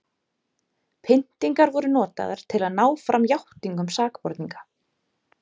pyntingar voru notaðar til að ná fram játningum sakborninga